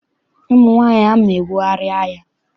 Ụmụ nwaanyị ahụ na-ebugharị ahịa.